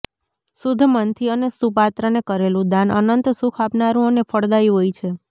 શુદ્ધ મનથી અને સુપાત્રને કરેલું દાન અનંત સુખ આપનારું અને ફળદાયી હોય છે